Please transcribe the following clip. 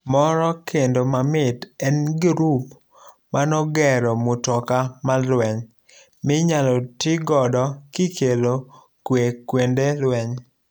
Moro kendo mamit en gurup manogero mutoka mar lueny minyalo tii godo kikelo kwe kuende lueny.